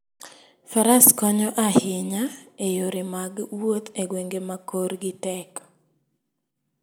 Faras konyo ahinya e yore mag wuoth e gwenge ma korgi tek.